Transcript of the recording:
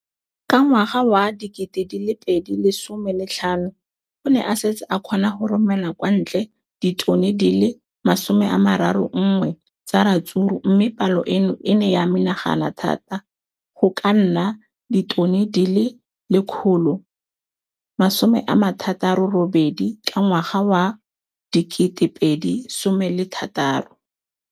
Ka ngwaga wa 2015, o ne a setse a kgona go romela kwa ntle ditone di le 31 tsa ratsuru mme palo eno e ne ya menagana thata go ka nna ditone di le 168 ka ngwaga wa 2016.